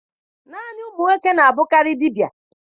Naanị ụmụ nwoke na-abụkarị dibia.